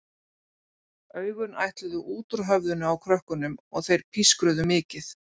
Augun ætluðu út úr höfðinu á krökkunum og þeir pískruðu mikið.